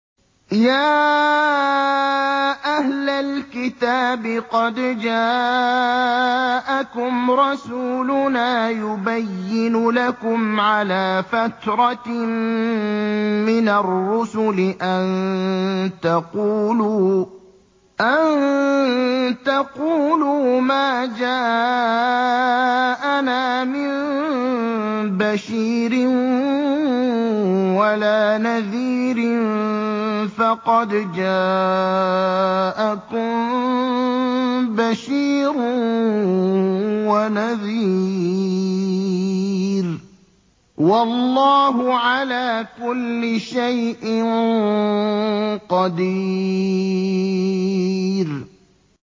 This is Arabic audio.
يَا أَهْلَ الْكِتَابِ قَدْ جَاءَكُمْ رَسُولُنَا يُبَيِّنُ لَكُمْ عَلَىٰ فَتْرَةٍ مِّنَ الرُّسُلِ أَن تَقُولُوا مَا جَاءَنَا مِن بَشِيرٍ وَلَا نَذِيرٍ ۖ فَقَدْ جَاءَكُم بَشِيرٌ وَنَذِيرٌ ۗ وَاللَّهُ عَلَىٰ كُلِّ شَيْءٍ قَدِيرٌ